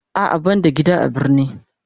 A'a ban da gida a birni.